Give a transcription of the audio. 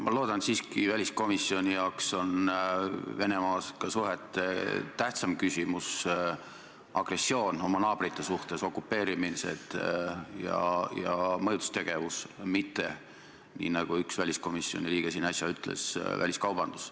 Ma loodan siiski, et väliskomisjoni jaoks on Venemaaga suhete puhul tähtsam küsimus agressioon oma naabrite suhtes, okupeerimine ja mõjutustegevus, mitte väliskaubandus, nagu üks väliskomisjoni liige siin äsja ütles.